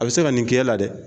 A bɛ se ka nin kɛ la dɛ.